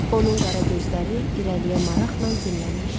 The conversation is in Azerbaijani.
Onun qara gözləri irəliyə maraqla zillənmişdi.